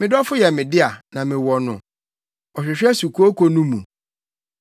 Me dɔfo yɛ me dea, na mewɔ no; ɔhwehwɛ sukooko no mu.